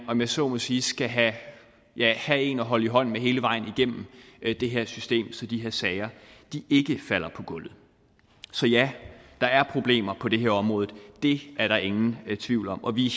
om jeg så må sige skal have en at holde i hånden hele vejen igennem det her system så de her sager ikke falder på gulvet så ja der er problemer på det her område det er der ingen tvivl om og vi er